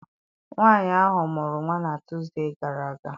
Nwaanyị ahụ mụrụ nwa na Tuusdee gara aga.